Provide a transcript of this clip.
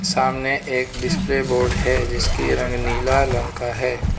सामने एक display board है जिसकी रंग नीला लंग का है।